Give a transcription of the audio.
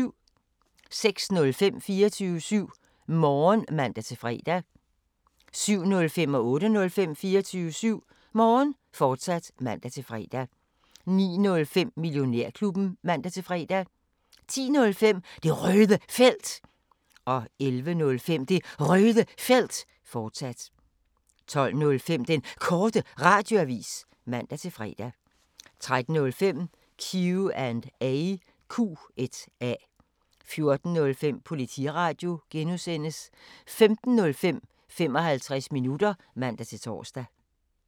06:05: 24syv Morgen (man-fre) 07:05: 24syv Morgen, fortsat (man-fre) 08:05: 24syv Morgen, fortsat (man-fre) 09:05: Millionærklubben (man-fre) 10:05: Det Røde Felt 11:05: Det Røde Felt, fortsat 12:05: Den Korte Radioavis (man-fre) 13:05: Q&A 14:05: Politiradio (G) 15:05: 55 minutter (man-tor)